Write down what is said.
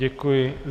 Děkuji.